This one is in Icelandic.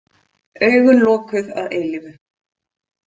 Augun lokuð að eilífu.